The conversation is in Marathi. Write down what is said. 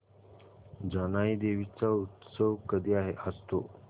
जानाई देवी चा उत्सव कधी असतो